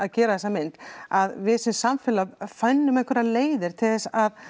gerum þessa mynd að við sem samfélag finnum einhverjar leiðir til þess að